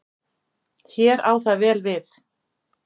Hér á það vel við.